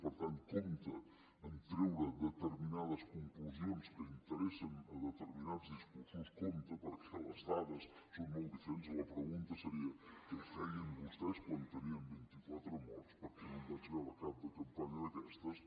per tant compte a treure determinades conclusions que interessen determinats discursos compte perquè les dades són molt diferents i la pregunta seria què feien vostès quan tenien vint i quatre morts perquè no en vaig veure cap de campanya d’aquestes